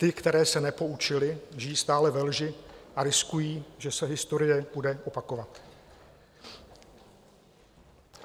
Ty, které se nepoučily, žijí stále ve lži a riskují, že se historie bude opakovat.